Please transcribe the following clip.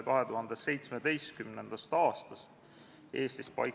Riigikogu juhatus menetleb seda Riigikogu kodu- ja töökorra seaduse alusel.